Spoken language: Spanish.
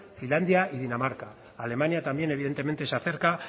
finlandia y dinamarca alemania también evidentemente se acerca